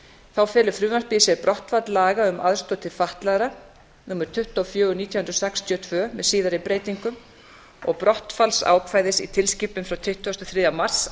þá telur frumvarpið í sér brottfall laga um aðstoð til fatlaðra númer tuttugu og fjögur nítján hundruð sextíu og tvö með síðari breytingum og brottfallsákvæði í tilskipun frá tuttugasta og þriðja mars